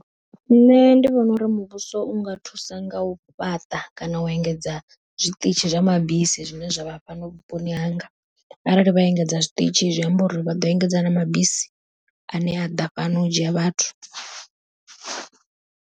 Nṋe ndi vhona uri muvhuso u nga thusa nga u fhaṱa kana u engedza zwiṱitshi zwa mabisi, zwine zwavha hafha vhuponi hanga, arali vha engedza zwiṱitshi zwi amba uri vha ḓo engedza na mabisi ane a ḓa fhano u dzhia vhathu.